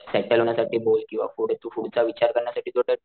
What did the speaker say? settle होण्या साठी बोल किंवा पुढे तू पुढचा विचार करण्या साठी